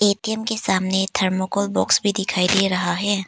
ATM के सामने thermocol box भी दिख दे रहा है।